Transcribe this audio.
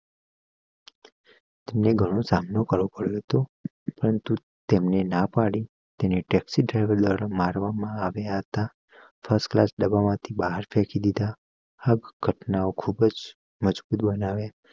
તેમને ઘણો સામનો કરવો પડ્યો હતું પરંતુ તેમને ના પાડી તેને ટેક્સી ડ્રાઈવર દ્વારા મારવામાં આવ્યા હતા ફર્સ્ટ ક્લાસ ડાબા માંથી બાર ફેંકી દીધા ઘટનાઓ ખુબજ મજભૂત બનાવ્યા